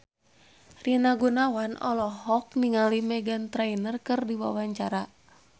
Rina Gunawan olohok ningali Meghan Trainor keur diwawancara